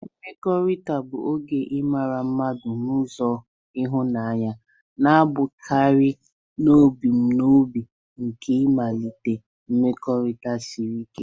Mkpakọrịta bụ oge ịmara mmadụ n'ụzọ ịhụnanya, na-abụkarị n'ebumnobi nke ịmalite mmekọrịta siri ike.